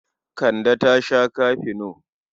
Kande ta sha kafino.